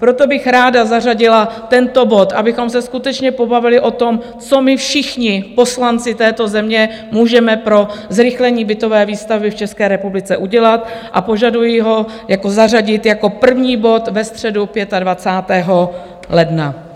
Proto bych ráda zařadila tento bod, abychom se skutečně pobavili o tom, co my všichni poslanci této země můžeme pro zrychlení bytové výstavby v České republice udělat, a požaduji ho zařadit jako první bod ve středu 25. ledna.